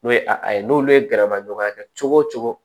N'o ye a ye n'olu ye gɛrɛma ɲɔgɔnya kɛ cogo o cogo